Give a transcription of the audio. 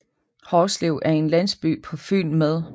Hårslev er en landsby på Fyn med